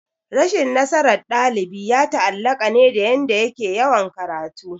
Rashin nasaran dalibi ya taallaka ne dayanda yake yawan karatu